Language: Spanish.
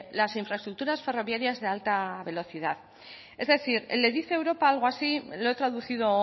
las infraestructuras ferroviarias de alta velocidad es decir le dice europa algo así lo he traducido